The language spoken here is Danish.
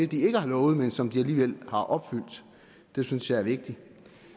de ikke har lovet men som de alligevel har opfyldt det synes jeg er vigtigt